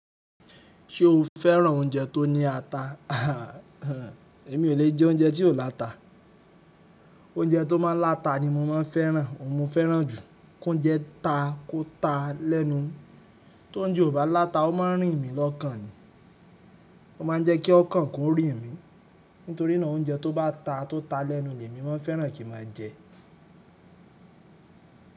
Ṣé o fẹ́ràn oúnjẹ tó ní ata? Èmi ò lè jẹ oúnjẹ tí ò láta. Oúnjẹ tó máa ń láta ni mo máa ń fẹ́ràn, òun mo fẹ́ràn jù. Kóunjẹ́ ta, kó ta lẹ́nu. Toúnjẹ ò bá láta, ó mọ ń rìn mí lọ́kàn ni. Ó máa ń jẹ́ kí ọkàn kó rìn mí. Nítorí náà oúnjẹ tó bá ta tó ta lẹ́nu ni èmi mọ ń fẹ́ràn kí n mọ jẹ.